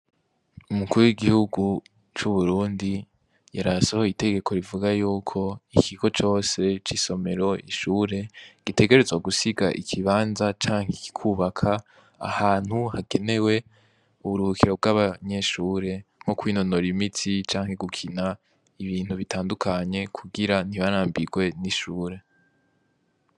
Umukure w'igihugu c'uburundi yaraye asohoye itegeko rivuga yuko ikigo cose c'isomero ishure gitegerezwa gusiga ikibanza canke kikubaka ahantu hagenewe uburukiro bw'abanyeshure nko kwinonora imitsi canke gukina ibintu bitandukanye kugira ntibarambirwe n'ishure.